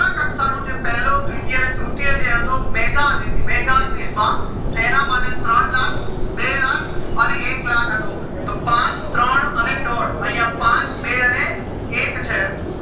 શાળા કક્ષા નું પેલું દ્વિત્ય અને તૃતીય જે હતો mega quiz માં તો એના માટે ત્રણ લાખ બે લાખ અને એક લાખ હતું તો પાંચ ત્રણ અને દોઢ યા પાચ બે અને એક છે